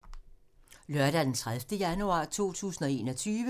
Lørdag d. 30. januar 2021